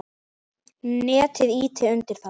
Netið ýti undir það.